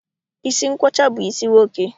Isi nkwọcha bụ isi nwoke